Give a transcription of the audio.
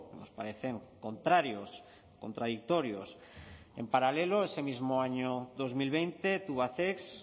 nos parecen contrarios contradictorios en paralelo ese mismo año dos mil veinte tubacex